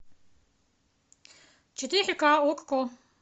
четыре ка окко